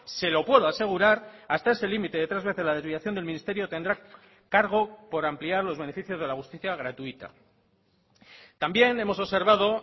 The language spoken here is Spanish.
se lo puedo asegurar hasta ese límite de tres veces la desviación del ministerio tendrá cargo por ampliar los beneficios de la justicia gratuita también hemos observado